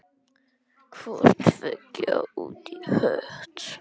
Hvort tveggja út í hött.